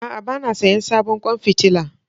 A'a, ba na sayen sabon kwan fitila